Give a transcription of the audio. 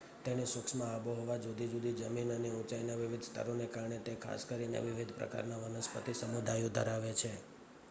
તેની સૂક્ષ્મ આબોહવા જુદી જુદી જમીન અને ઊંચાઈના વિવિધ સ્તરોને કારણે તે ખાસ કરીને વિવિધ પ્રકારના વનસ્પતિ સમુદાયો ધરાવે છે